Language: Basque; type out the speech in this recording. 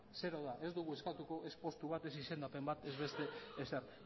ez dugu eskatuko ez postu bat ez izendapen bat ez beste ezer